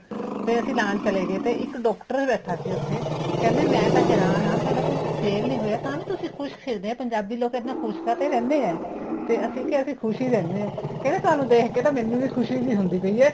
ਤੇ ਅਸੀਂ ਲਾਣ ਚਲੇ ਗਏ ਤੇ ਇੱਕ doctor ਬੈਠਾ ਸੀ ਉੱਥੇ ਕਹਿੰਦੇ ਮੈਂ ਤਾਂ ਹੈਰਾਨ ਆ ਤੁਹਾਡਾ ਕੁੱਛ sale ਨਹੀਂ ਹੋਇਆ ਤਾਂ ਵੀ ਤੁਸੀਂ ਖ਼ੁਸ਼ ਫਿਰਦੇ ਹੈ ਪੰਜਾਬੀ ਲੋਕ ਐਨਾ ਖ਼ੁਸ਼ ਕਾਤੇ ਰਹਿੰਦੇ ਹੈ ਤੇ ਅਸੀਂ ਕਿਹਾ ਅਸੀਂ ਖ਼ੁਸ਼ ਹੀ ਰਹਿੰਦੇ ਆ ਕਹਿੰਦਾ ਤੁਹਾਨੂੰ ਦੇਖਕੇ ਤਾਂ ਮੈਨੂੰ ਵੀ ਖੁਸ਼ੀ ਜੀ ਹੁੰਦੀ ਪਈ ਏ